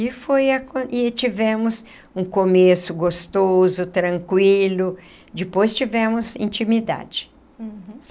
E foi a e tivemos um começo gostoso, tranquilo, depois tivemos intimidade.